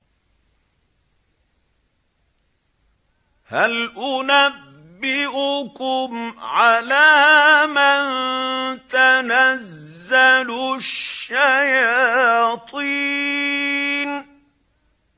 هَلْ أُنَبِّئُكُمْ عَلَىٰ مَن تَنَزَّلُ الشَّيَاطِينُ